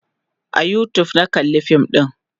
a YouTube na kalla fin ɗin